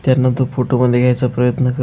त्यांना तो फोटोमध्ये घ्यायचा प्रयन्त कर --